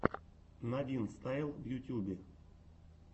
надинстайл в ютьюбе